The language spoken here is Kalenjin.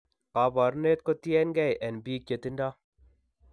Kabarunet kotien keey en biik chetindo.